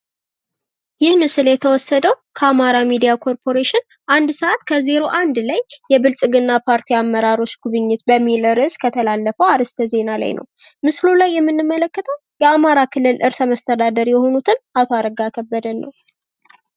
ይህ ምስል የተወሰደ ከአማራ ሚዲያ ኮርፖሬሽን አንድ ሰአት ከ ዜሮ አንድ ላይ የብልጽግና ፓርቲ አመራሮች ጉብኝት በሚል ርእስ ከተላለፈ አርእስተ ዜና ላይ ነው። ምስሉ ላይ የምንመለከተው የአማራ ክልል ርእሰ-መስተዳድር የሆኑትን አቶ አረጋ ከበደን ነው።